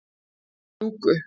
Klúku